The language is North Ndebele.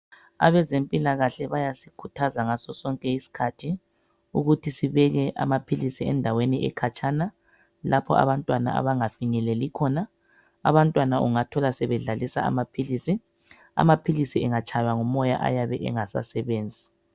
Abezempikahle bayasikhuthaza ngaso sonke isikhathi ukuthi sibeke amaphilizi endaweni ekhatshana, lapho abantwana abangafinyeleli khona. Abantwana ungathola sebedlalisa amaphilizi. Amaphilizi angatshaywa ngumoya ayabe engasasebenzi.